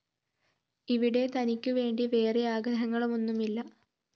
ഇവിടെ തനിക്കുവേണ്ടി വേറെ ആഗ്രഹങ്ങളൊന്നുമില്ല